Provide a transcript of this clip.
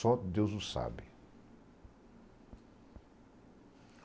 Só Deus o sabe.